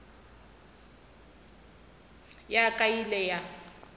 ya ka e ile ya